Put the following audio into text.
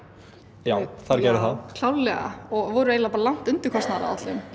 já þær gerðu það klárlega og voru eiginlega bara langt undir kostnaðaráætlun